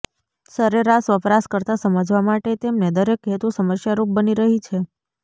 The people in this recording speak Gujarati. સરેરાશ વપરાશકર્તા સમજવા માટે તેમને દરેક હેતુ સમસ્યારૂપ બની રહી છે